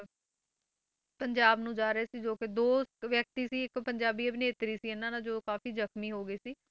ਪੰਜਾਬ ਨੂੰ ਜਾ ਰਹੇ ਸੀ ਜੋ ਕਿ ਦੋ ਵਿਅਕਤੀ ਸੀ ਇੱਕ ਪੰਜਾਬੀ ਅਭਿਨੇਤਰੀ ਸੀ ਇਹਨਾਂ ਨਾਲ ਜੋ ਕਾਫ਼ੀ ਜਖ਼ਮੀ ਹੋ ਗਈ ਸੀ,